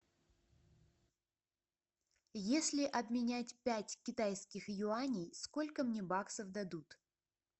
если обменять пять китайских юаней сколько мне баксов дадут